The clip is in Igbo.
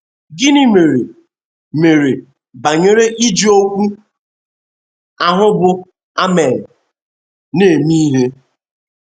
Gịnị mere mere banyere iji okwu ahụ bụ́ “ amen ” na - eme ihe?